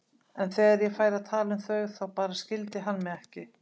En þegar ég færi að tala um þau þá bara skildi hann mig ekki.